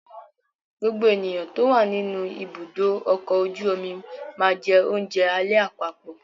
Gbogbo ènìyàn tó wà nínú ibùdó ọkọ̀ ojú omi máa jẹ oúnjẹ alẹ́ àpapọ̀.